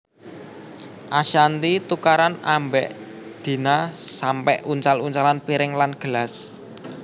Ashanty tukaran ambek Dina sampe uncal uncalan piring lan gelas